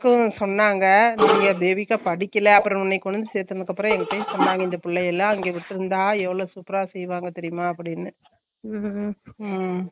இங்க விட்டுருந்த எவளோ super அ செய்வாங்க தெரியுமா அப்புடின்னு